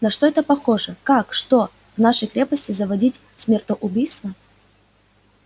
на что это похоже как что в нашей крепости заводить смертоубийство